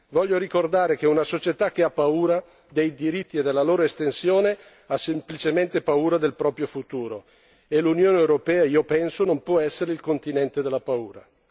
Voglio ricordare che una società che ha paura dei diritti e della loro estensione ha semplicemente paura del proprio futuro e l'Unione europea, io penso, non può essere il continente della paura.